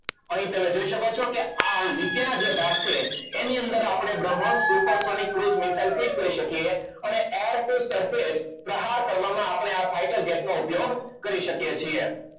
અહીં તમે જોઈ શકો છો કે આ નીચેના જે ભાગ છે એની અંદર આપણે bhrambhot super sony crude missile થી જ કરી શકીએ હવે air force સરખેજ પ્રહાર કરવામાં આપણે fighter jet નો ઉપયોગ કરી શકીએ છીએ.